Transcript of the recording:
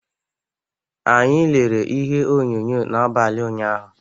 Anyị lere ihe onyonyo n’abalị ụnyahụ.